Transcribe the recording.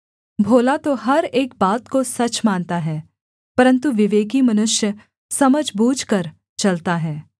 भोला तो हर एक बात को सच मानता है परन्तु विवेकी मनुष्य समझ बूझकर चलता है